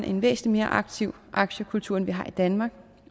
en væsentlig mere aktiv aktiekultur end vi har i danmark